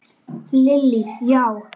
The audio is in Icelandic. Lillý: Já?